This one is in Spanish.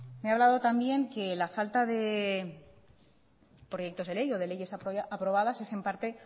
me ha hablado también que la falta de proyectos de ley o de leyes aprobadas es en parte